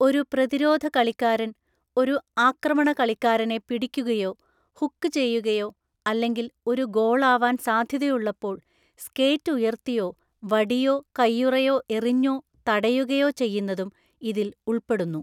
ഒരു പ്രതിരോധകളിക്കാരൻ ഒരു ആക്രമണകളിക്കാരനെ പിടിക്കുകയോ ഹുക്ക് ചെയ്യുകയോ അല്ലെങ്കിൽ ഒരു ഗോളാവാൻ സാധ്യതയുള്ളപ്പോൾ സ്കേറ്റ് ഉയർത്തിയോ വടിയോ കൈയുറയോ എറിഞ്ഞോ തടയുകയോ ചെയ്യുന്നതും ഇതിൽ ഉൾപ്പെടുന്നു.